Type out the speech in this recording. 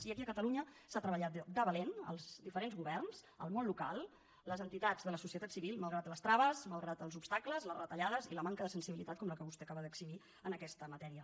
i aquí a catalunya s’ha treballat de valent els diferents governs el món local les entitats de la societat civil malgrat les traves malgrat els obstacles les retallades i la manca de sensibilitat com la que vostè acaba d’exhibir en aquesta matèria